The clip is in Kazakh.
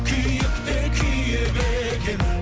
күйік те күйік екен